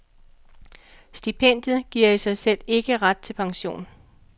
Stipendiet giver i sig selv ikke ret til pension.